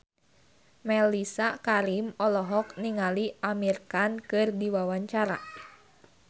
Mellisa Karim olohok ningali Amir Khan keur diwawancara